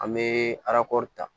An bɛ arakɔri ta